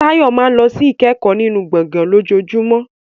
Tayo máa ń lọ sí ìkẹ́kọ̀ọ́ nínú gbọ̀ngàn lójoojúmọ́.